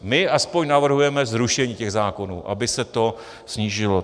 My aspoň navrhujeme zrušení těch zákonů, aby se to snížilo.